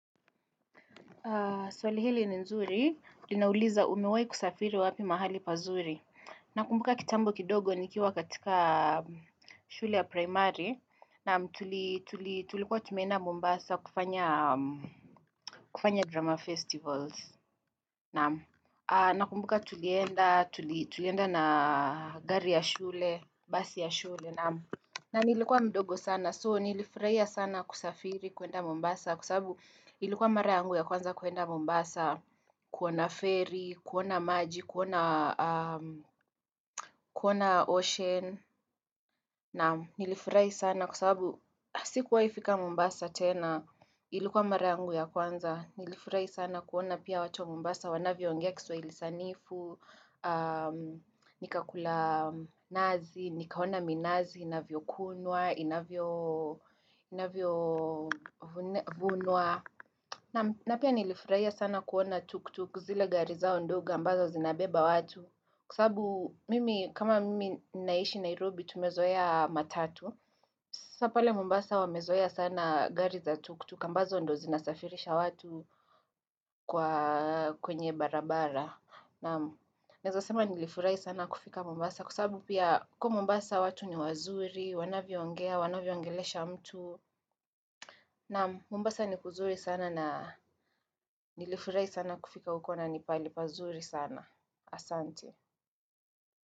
Swali hili ni nzuri, linauliza umewahi kusafiri wapi mahali pazuri. Nakumbuka kitambo kidogo nikiwa katikaa shule ya primary. Naam tulii tuli tulikuwa tumeenda Mombasa kufanyaa kufanya drama festivals. Naam aah nakumbuka tulienda tuli tulienda naa gari ya shule, basi ya shule. Na nilikuwa mdogo sana. So nilifurahia sana kusafiri kwenda Mombasa. Kwa sababu ilukuwa mara yangu ya kwanza kwenda Mombasa, kuona ferry, kuona maji, kuonaa aah kuona ocean, naam nilifurahi sana kwa sababu sikuwahifika Mombasa tena, ilukuwa mara yangu ya kwanza, nilifurahi sana kuona pia watu wa Mombasa, wanavyoongea kiswahili sanifu aah, nikakula nazi, nikaona minazi, inavyokunwa, inavyoo inavyoo vunwa, na pia nilifurahia sana kuona tuktuk zile gari zao ndogo ambazo zinabeba watu kwa saabu mimi kama mimi naishi Nairobi tumezoea matatu. Sasa pale mombasa wamezoea sana gari za tuktuk ambazo ndo zinasafirisha watu kwa kwenye barabara. Naam neazasema nilifurahi sana kufika mombasa kwa saabu pia huko mombasa watu ni wazuri, wanavyo ongea, wanavyo ongelesha mtu. Naam mombasa ni kuzuri sana na nilifurahi sana kufika huko nipaali pazuri sana. Asante.